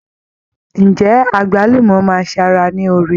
Ǹjẹ́ Àgbálùmọ́ máa ṣe ara ní oore?